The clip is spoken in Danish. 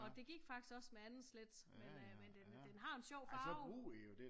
Og det gik faktisk også med andet slæt men øh den men den har en sjov farve